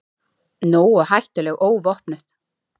Nógu hættuleg óvopnuð.